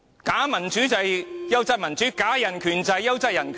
假民主便是"優質民主"，假人權便是"優質人權"。